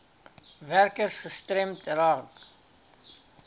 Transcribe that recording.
werkers gestremd raak